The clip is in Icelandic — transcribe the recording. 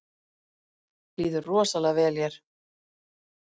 Líður rosalega vel hér